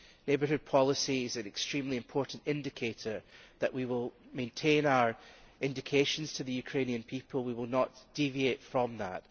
Neighbourhood policy is an extremely important indicator that we will maintain our undertakings to the Ukrainian people and we will not deviate from that.